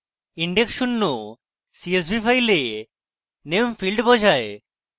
index শূন্য csv file name field বোঝায়